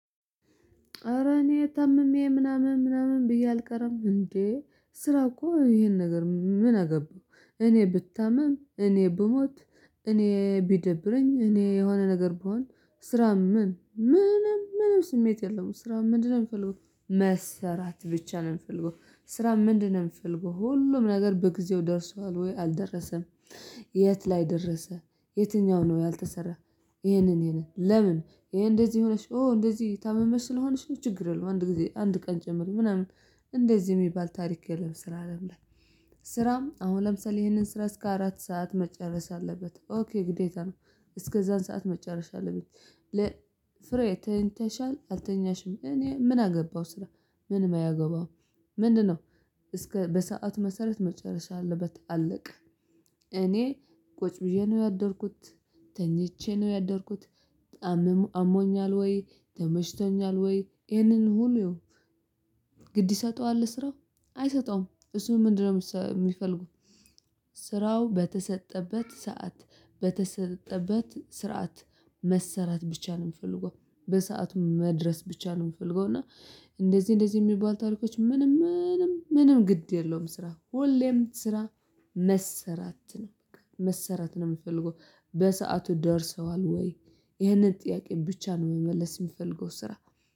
ኧረ እኔ ታምሜ ምናምን ምናምን ብዬ አልቀረም እንዴ ስራ እኮ ይሄን ነገር ምን አገባው? እኔ ብታምም እኔ ብሞት። እኔ ቢደብረኝ እኔ የሆነ ነገር ብሆን ስራ ምን ምንም ምንም ስሜት የለውም። ስራ ምንድነው የምፈልገው? መሰራት ብቻ ነው የሚፈልገው። ስራ ምንድነው የሚፈልገው ሁሉም ነገር በጊዜው ደርሷል ወይ አልደረሰም? የት ላይ ደረሰ። የትኛው ነው ያልተሰራ? ይሄንን ለምን ይሄ እንደዚህ ሆነሽ ኦ እንደዚህ ታመሽ ስለሆነሽ ችግር የለውም። አንድ ጊዜ አንድ ቀን ጨምሪ ምናምን እንደዚህ የሚባል ታሪክ የለም። ስራ አይደለም። ስራም አሁን ለምሳሌ ይሄንን ስራ እስከ አራት ሰዓት መጨረስ አለበት ኦኬ ግዴታ ነው። እስከዛን ሰዓት መጨረስ አለብኝ። ፍሬ ተኝተሻል አልተኛሽም? እኔ ምን አገባው ስራ ምንም አያገባውም። ምንድነው? እስከ በሰአት መሰረት መጨረስ አለበት አለቀ። እኔ ቁጭ ብየ ነው ያደርኩት። ተኝቼ ነው ያደርኩት። በ አሞኛል ወይ ተመችቶኛል ወይ ይሄንን ሁሉ? ግድ ይሰጠዋል ለስራው አይሰጠውም። እሱ ምንድነው የሚፈልገው? ስራው በተሰጠበት ሰዓት በተሰጠበት ስርዓት መሰረት ብቻ ነው የምፈልገው። በሰአቱ መድረስ ብቻ ነው የምፈልገው። እና እንደዚህ እንደዚህ የሚባል ታሪኮች ምንም ምንም ምንም ግድ የለውም። ስራ ሁሌም ስራ መሰራት ነው። መሰራት ነው የሚፈልገው። በሰአቱ ደርሰዋል ወይ? ይህንን ጥያቄ ብቻ ነው መመለስ የምፈልገው ስራ